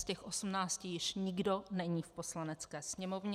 Z těch 18 již nikdo není v Poslanecké sněmovně.